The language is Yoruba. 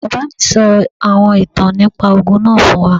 Bàbá mí sọ àwọn ìtàn nípá ogún náà fún wá